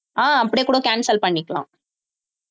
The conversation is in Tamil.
ஆஹ் அப்படியே கூட cancel பண்ணிக்கலாம்